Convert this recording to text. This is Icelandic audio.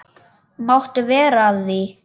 Máttu vera að því?